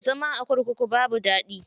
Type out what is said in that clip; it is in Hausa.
Zama a kurkuku babu daɗi.